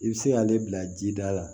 I bɛ se k'ale bila ji da la